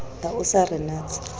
ha o sa re natsa